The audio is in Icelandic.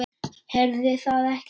Heyrði það ekki.